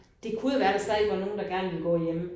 Det kunne jo være der stadig var nogen der gerne ville gå hjemme